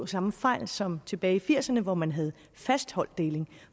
samme fejl som tilbage i nitten firserne hvor man havde fast holddeling